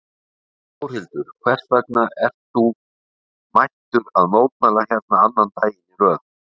Þórhildur: Hvers vegna ert þú mættur að mótmæla hérna annan daginn í röð?